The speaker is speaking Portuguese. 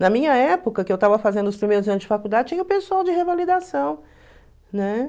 Na minha época, que eu estava fazendo os de faculdade, tinha o pessoal de revalidação, né?